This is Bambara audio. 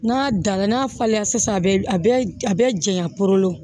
N'a dara n'a falenna sisan a bɛ a bɛ a bɛ janya poro